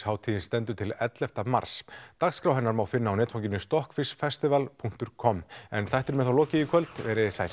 hátíðin stendur til elleftu mars dagskrá hennar má finna á netfanginu punktur com en þættinum er lokið í kvöld veriði sæl